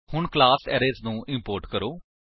ਹੁਣ class arrays ਨੂੰ import ਕਰੋ